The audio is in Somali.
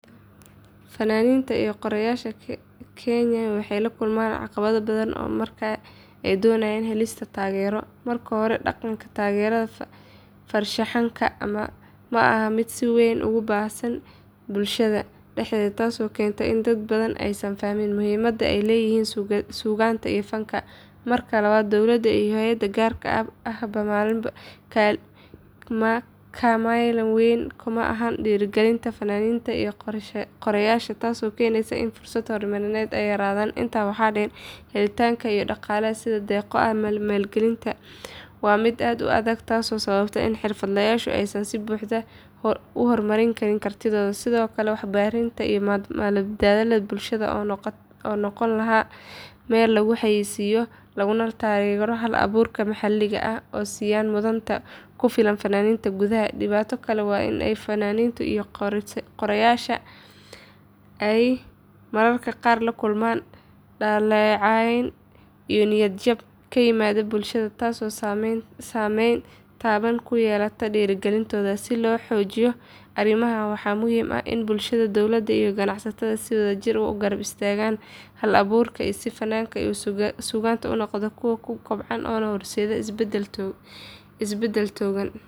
Fannaaniinta iyo qoraayaasha Kenya waxay la kulmaan caqabado badan marka ay doonayaan helista taageero. Marka hore, dhaqanka taageerada farshaxanka ma aha mid si weyn ugu baahsan bulshada dhexdeeda taasoo keenta in dad badan aysan fahmin muhiimadda ay leeyihiin suugaanta iyo fanka. Marka labaad, dowladda iyo hay’adaha gaarka ahba kamaalin weyn kuma laha dhiirrigelinta fannaaniinta iyo qoraayaasha, taasoo keenaysa in fursadaha horumarineed ay yaraadaan. Intaa waxaa dheer, helitaanka ilo dhaqaale sida deeqo iyo maalgelin waa mid aad u adag taasoo sababta in xirfadlayaashu aysan si buuxda u hormarin kartihooda. Sidoo kale, warbaahinta iyo madalaha bulshada oo noqon lahaa meel lagu xayeysiiyo lana taageero hal-abuurka maxalliga ah ma siiyaan mudnaan ku filan fanaaniinta gudaha. Dhibaato kale waa in fannaaniinta iyo qoraayaashu ay mararka qaar la kulmaan dhaleecayn iyo niyad jab ka yimaada bulshada taasoo saameyn taban ku yeelata dhiirrigelintooda. Si loo xaliyo arrimahan waxaa muhiim ah in bulshada, dowladda iyo ganacsatada si wadajir ah u garab istaagaan hal-abuurka si fanku iyo suugaantu u noqdaan kuwo kobcaya una horseeda isbeddel togan.